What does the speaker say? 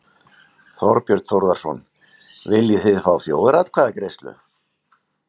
Þorbjörn Þórðarson: Viljið þið fá þjóðaratkvæðagreiðslu?